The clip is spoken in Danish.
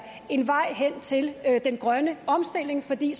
en vej hen til den grønne omstilling fordi